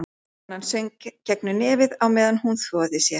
Konan söng gegnum nefið á meðan hún þvoði sér.